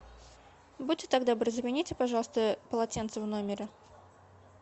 будьте так добры замените пожалуйста полотенце в номере